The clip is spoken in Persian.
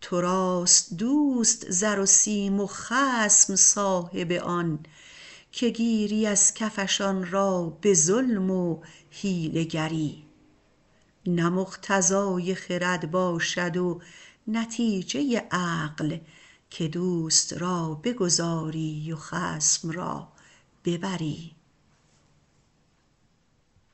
تو راست دوست زر و سیم خصم صاحب آن که گیری از کفش آن را به ظلم و حیله گری نه مقتضای خرد باشد و نتیجه عقل که دوست را بگذاری و خصم را ببری